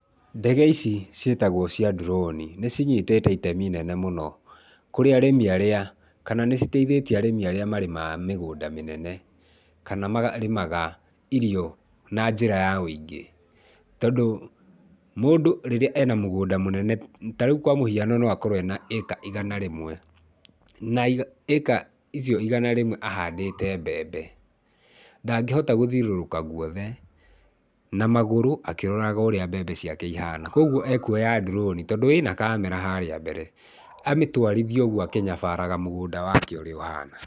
Ndege ici ciĩtagwo cia drone, nĩ cinyitĩte itemi inene mũno kũrĩ arĩmi arĩa, kana nĩ citeithĩtia arĩmi arĩa marĩmaga mĩgũnda mĩnene, kana marĩmaga irio na njĩra ya ũingĩ. Tondũ mũndũ rĩrĩa ena mũgũnda mũnene ta rĩu kwa mũhiano, no akorwo ena ĩka igana rĩmwe na ĩka icio igana rĩmwe ahandĩte mbembe. Ndangĩhota gũthiũrũrũka guothe na magũrũ akĩroraga ũrĩa mbembe ciake ihana. Kwogũo ekũoya drone, tondũ ĩna kamera harĩa mbere, amĩtwarithie ũguo akĩnyabaraga mũgũnda wake ũrĩa ũhana.